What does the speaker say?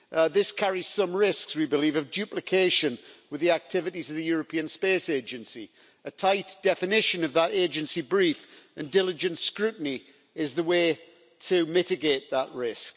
This carries some risks, we believe, of duplication with the activities of the European Space Agency. A tight definition of that agency's brief and diligent scrutiny is the way to mitigate that risk.